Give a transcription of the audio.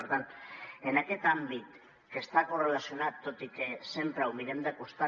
per tant en aquest àmbit que està correlacionat tot i que sempre ho mirem de costat